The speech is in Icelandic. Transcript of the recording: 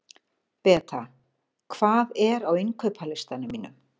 Beta, hvað er á innkaupalistanum mínum?